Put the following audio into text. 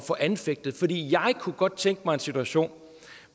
få anfægtet fordi jeg kunne godt tænke mig en situation